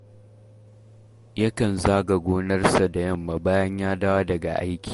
Yakan zaga gonarsa da yamma bayan ya dawo daga aiki